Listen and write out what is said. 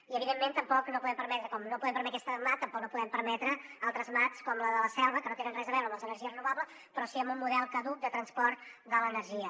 i evidentment com no podem permetre aquesta mat tampoc no podem permetre altres mats com la de la selva que no tenen res a veure amb les energies renovables però sí amb un model caduc de transport de l’energia